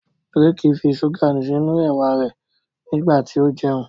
Drake fí ṣuga sínú ewa rẹ nígbàtí o jẹun.